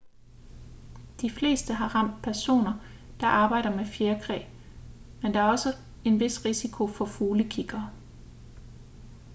de fleste har ramt personer der arbejder med fjerkræ men der er også en vis risiko for fuglekiggere